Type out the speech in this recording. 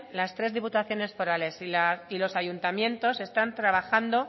las tres diputaciones forales y los ayuntamientos están trabajando